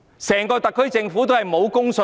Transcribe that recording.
整個特區政府也沒有公信力。